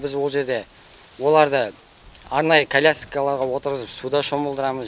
біз ол жерде оларды арнайы коляскаларға отырғызып суда шомылдырамыз